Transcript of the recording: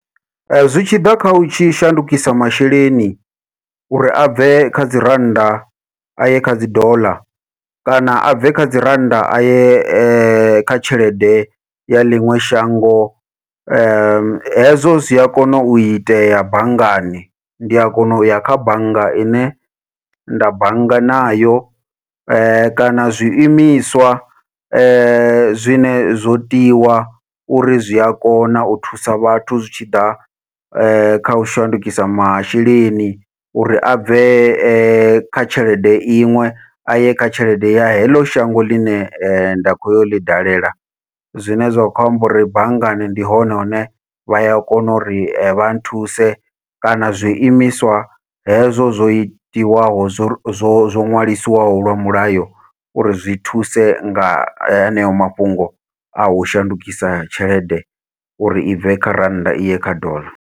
Zwi tshi ḓa kha u tshi shandukisa masheleni uri abve kha dzi rannda aye kha dzi doḽa, kana abve kha dzi rannda aye kha tshelede ya ḽiṅwe shango hezwo zwia kona u itea banngani, ndia kona uya kha bannga ine nda bannga nayo kana zwi imiswa zwine zwo tiwa uri zwi a kona u thusa vhathu zwi tshi ḓa kha u shandukisa masheleni uri abve kha tshelede iṅwe aye kha tshelede ya heḽo shango ḽine nda khou ya u ḽi dalela. Zwine zwa khou amba uri banngani ndi hone hune vha ya kona uri vha nthuse kana zwi imiswa hezwo zwo tiwaho zwo zwo zwo ṅwalisiwaho lwa mulayo uri zwi thuse nga heneyo mafhungo a u shandukisa tshelede uri i bve kha rannda iye kha ḓola.